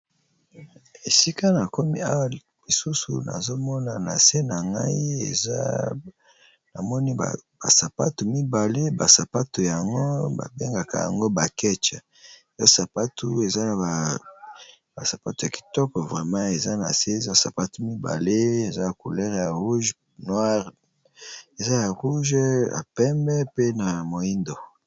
Esika na komi awa lisusu nazomona na se na ngai eza na moni ba sapatu mibale ba sapatu yango ba bengaka yango ba ketch, ba sapatu eza na ba sapato ya kitoko vrema eza na se eza sapatu mibale eza ya couleur rouge, noire, eza ya rouge ya pembe pe na moyindo.